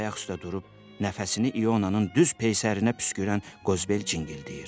Deyə ayaq üstə durub nəfəsini İonanın düz peysərinə püskürən Qozbel cingildəyir.